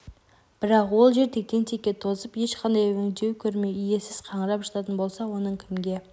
бірақ ол жер тектен текке тозып ешқандай өңдеу көрмей иесіз қаңырап жататын болса оның кімге